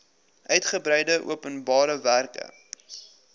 uitgebreide openbare werke